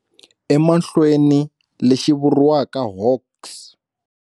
Emahlweni, lexi vuriwaka Hawks.